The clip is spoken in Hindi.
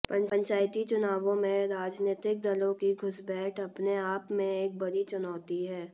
पंचायती चुनावों में राजनीतिक दलों की घुसपैठ अपने आप में एक बड़ी चुनौती है